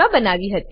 માં બનાવી હતી